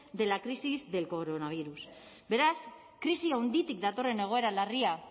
de la crisis del coronavirus beraz krisi handitik datorren egoera larria